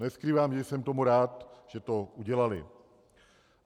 Neskrývám, že jsem tomu rád, že to udělali.